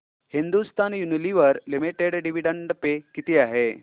Hindustan Unilever limited dividend pay किती आहे